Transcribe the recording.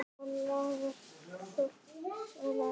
Hvað laðar þorsk að æti?